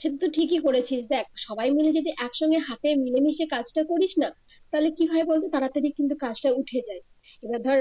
সে তো ঠিকই করেছিস দেখ সবাই মিলে যদি একসঙ্গে হাতে মিলেমিশে কাজটা করিস না তাহলে কি হয় বলতো তাড়াতাড়ি কিন্তু কাজটা উঠে যায় এবার ধর